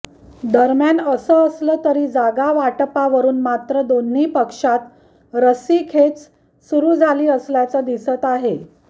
दरम्यान असं असलं तरी जागावाटपावरुन मात्र दोन्ही पक्षांत रस्सीखेच सुरु झाली असल्याचं दिसत आहे